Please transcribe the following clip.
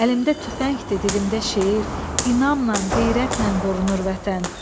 Əlimdə tüfəngdir, dilimdə şeir, inamla, qeyrətlə qorunur vətən.